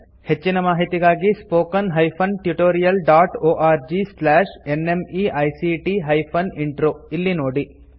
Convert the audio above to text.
ಹೆಚ್ಚಿನ ಮಾಹಿತಿಗಾಗಿ spoken hyphen tutorial dot org slash NMEICT hyphen intro ಇಲ್ಲಿ ನೋಡಿ